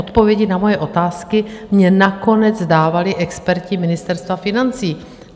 Odpovědi na moje otázky mi nakonec dávali experti Ministerstva financí.